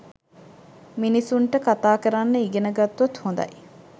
මිනිසුන්ට කතා කරන්න ඉගෙන ගත්තොත් හොඳයි.